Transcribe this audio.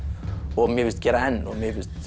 og mér finnst gera enn og mér finnst